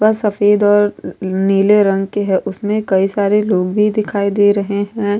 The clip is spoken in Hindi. सफेद और नीले रंग के है उसमें कई सारे लोग भी दिखाई दे रहे हैं।